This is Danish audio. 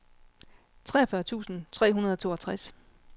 treogfyrre tusind tre hundrede og toogtres